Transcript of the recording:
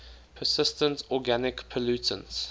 persistent organic pollutants